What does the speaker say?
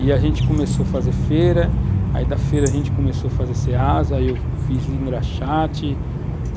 E a gente começou a fazer feira, aí da feira a gente começou a fazer seasa, aí eu fiz engraxate.